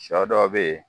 Sɔ dɔ be ye